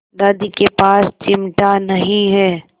दादी के पास चिमटा नहीं है